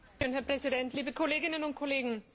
Herr Präsident, liebe Kolleginnen und Kollegen!